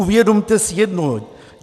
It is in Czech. Uvědomte si jedno.